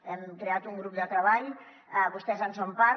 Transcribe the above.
hem creat un grup de treball vostès en són part